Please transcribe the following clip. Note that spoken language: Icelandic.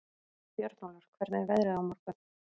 Björnólfur, hvernig er veðrið á morgun?